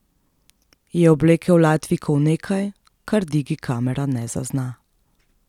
Je oblekel Latvijko v nekaj, kar digi kamera ne zazna.